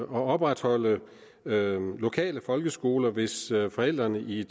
opretholde lokale folkeskoler hvis forældrene i